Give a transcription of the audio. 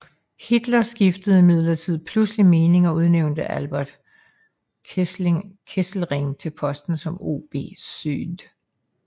Hitler skiftede imidlertid pludselig mening og udnævnte Albert Kesselring til posten som OB Süd